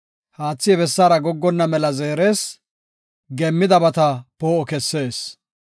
Haathi he bessaara goggonna mela zeeres; geemmidabata poo7o kessees.